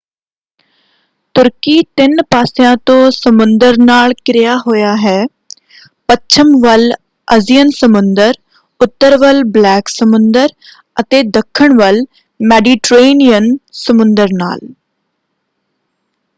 ਤੁਰਕੀ ਤਿੰਨ ਪਾਸਿਆਂ ਤੋਂ ਸਮੁੰਦਰ ਨਾਲ ਘਿਰਿਆ ਹੋਇਆ ਹੈ: ਪੱਛਮ ਵੱਲ ਅਜੀਅਨ ਸਮੁੰਦਰ ਉੱਤਰ ਵੱਲ ਬਲੈਕ ਸਮੁੰਦਰ ਅਤੇ ਦੱਖਣ ਵੱਲ ਮੈਡੀਟਰੇਨੀਅਨ ਸਮੁੰਦਰ ਨਾਲ।